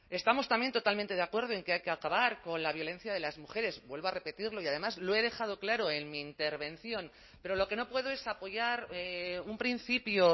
estamos también totalmente de acuerdo en que hay que acabar con la violencia de las mujeres vuelvo a repetirlo y además lo he dejado claro en mi intervención pero lo que no puedo es apoyar un principio